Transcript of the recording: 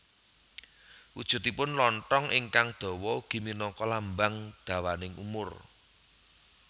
Wujudipun lonthong ingkang dawa ugi minangka lambang dawaning umur